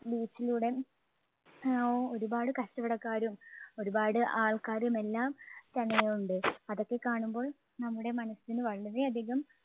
beach ലൂടേം അഹ് ഒരുപാട് കച്ചവടക്കാരും ഒരുപാട് ആൾക്കാരും എല്ലാം തന്നെയുണ്ട്. അതൊക്കെ കാണുമ്പോൾ നമ്മുടെ മനസ്സിന് വളരെ അധികം